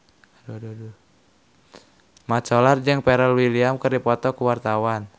Mat Solar jeung Pharrell Williams keur dipoto ku wartawan